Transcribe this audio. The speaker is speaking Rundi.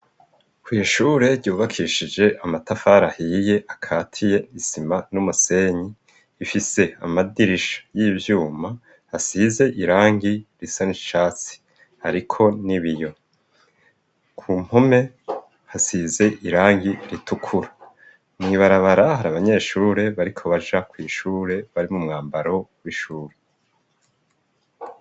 kw'ishure ryubakishije amatafari ahiye akatiye isima n'umusenyi ifise amadirisha y'iyuma hasize irangi risa n'icatsi ariko n'ibiyo ku mpume hasize irangi ritukura mw' ibarabara hari abanyeshure bariko baja kw' ishure bari mu mwambaro w'ishuri